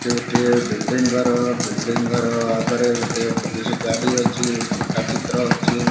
ସେଠି ଗୋଟିଏ ବିଲ୍ଡିଙ୍ଗ ଘର ବିଲ୍ଡିଙ୍ଗ ଘର ଆଗରେ ଗୋଟିଏ ପୋଲିସ ଗାଡ଼ି ଅଛି ଘଣ୍ଟା ଚିତ୍ର ଅଛି।